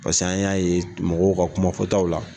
Paseke an y'a ye mɔgɔw ka kumafɔtaw la.